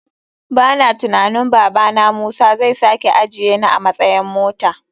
Bana tunanin babana musa zai sake ajiyeni a matsayan mota.